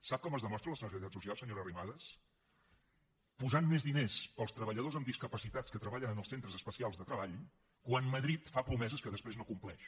sap com es demostra la sensibilitat social senyora arrimadas posant més diners per als treballadors amb discapacitats que treballen en els centres especials de treball quan madrid fa promeses que després no compleix